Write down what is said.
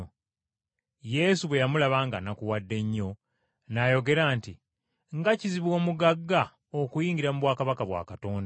Yesu bwe yamulaba ng’anakuwadde nnyo, n’ayogera nti, “Nga kizibu omugagga okuyingira mu bwakabaka bwa Katonda!